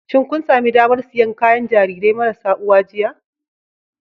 Shin kun sami damar siyan kayan gidan Jarirai marasa uwa jiya